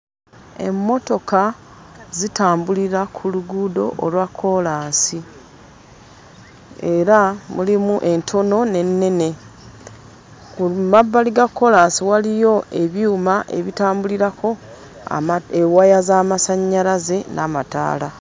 Emmotoka zitambulira ku luguudo olwa kkoolaasi era mulimu entono n'ennene ku mabbali ga kkoolaasi waliyo ebyuma ebitambulirako ama ewaya z'amasannyalaze n'amataala.